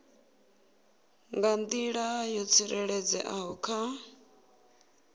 nga nḓila yo tsireledzeaho kha